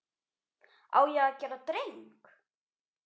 Á ég að gera dreng?